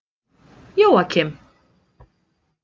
Jóakim